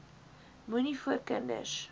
moenie voor kinders